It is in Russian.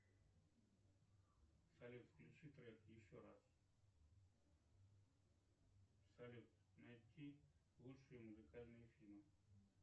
салют включи трек еще раз салют найти лучшие музыкальные фильмы